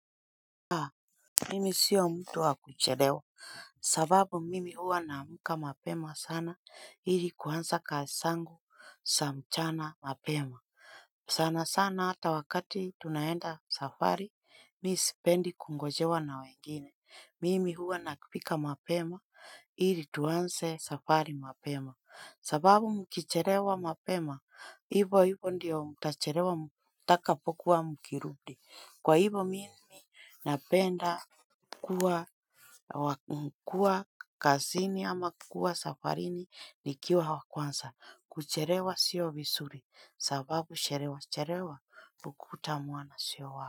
Haa mimi sio mtu wa kucherewa sababu mimi huwa namuka mapema sana ili kuansa kazi sangu sa mchana mapema. Sana sana hata wakati tunaenda safari miisipendi kungojewa na wengine mimi huwa nakipika mapema. Iri tuanze safari mapema. Sababu mkicherewa mapema, hivo hivo ndio mtacherewa mutakapokuwa mkirudi. Kwa hivo mimi napenda kuwa mkua kazini ama kukua safarini ni kiwa wa kwansa. Kucherewa sio visuri. Sababu sherewa cherewa ukuta mwana sio wako.